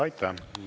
Aitäh!